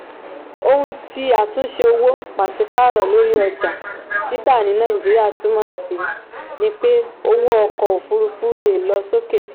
ohun tí àtúnṣe owó paṣipaarọ lórí ọjà títà ní nàìjíríà túmọ̀ sí ni pé owó ọkọ̀ òfúrufú le è lọ sókè.